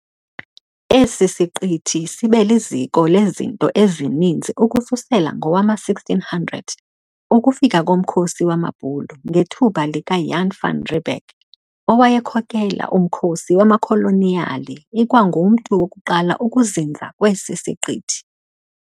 Esi siqithi sibe liziko lezinto ezininzi ukususela ngowama 1600 ukufika komkhosi wamaBhulu ngethuba lika Jan van Riebeck owayekhokela umkhosi wamakholoniyali ikwangumntu wokuqala ukuzinza kwesi siqithi.